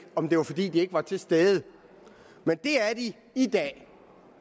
om det var fordi de ikke var til stede men det er de i dag